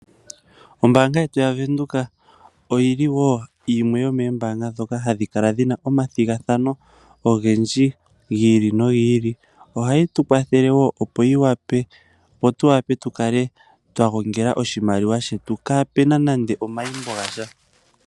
Ombaanga yetu yaVenduka oyili wo yimwe yomoombaanga ndhoka hadhi kala dhi na omathigathano ogendji gi ili nogi ili. Ohayi tu kwathele wo opo tu kale twa gongela oshimaliwa shetu kaa pu na nande omaimbo gasha.